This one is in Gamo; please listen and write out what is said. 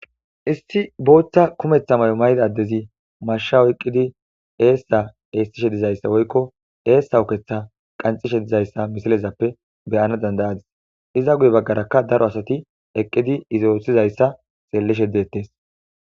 issi booththa kumeththa may7o mayda addezi masha oqqidi eessa eestishe dizayssa woykko eessa uketha qancishe dizayssa misilezappe beyana dandayadis iza guye baggarakka daro asati eqqidi izaothizayssa xeelleshe dettes